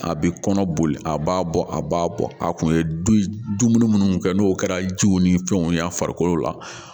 A bɛ kɔnɔ boli a b'a bɔ a b'a bɔ a kun ye duŋun mun kɛ n'o kɛra jiw ni fɛnw ye a farikolo la